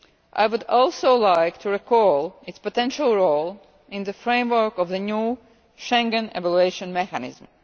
I would also like to recall its potential role in the framework of the new Schengen evaluation mechanism.